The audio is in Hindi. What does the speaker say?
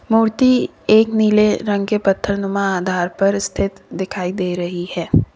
मूर्ति एक नीले रंग के पत्थर नुमा आधार पर स्थित दिखाई दे रही है।